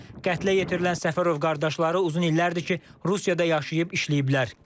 Qətlə yetirilən Səfərov qardaşları uzun illərdir ki, Rusiyada yaşayıb işləyiblər.